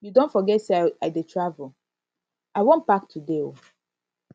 you don forget say i dey travel i wan pack today um